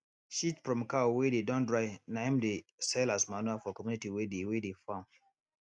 shit from cow wey dey don dry na him dem dey sell as manure for community wey dey wey dey farm